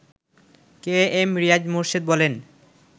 কে M Riaz Morshed বলেন